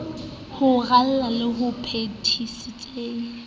ho raleng le ho phethiseng